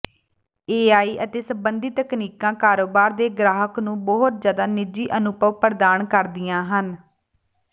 AI ਅਤੇ ਸੰਬੰਧਿਤ ਤਕਨੀਕਾਂ ਕਾਰੋਬਾਰ ਦੇ ਗ੍ਰਾਹਕ ਨੂੰ ਬਹੁਤ ਜ਼ਿਆਦਾ ਨਿੱਜੀ ਅਨੁਭਵ ਪ੍ਰਦਾਨ ਕਰਦੀਆਂ ਹਨ